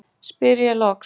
spyr ég loks.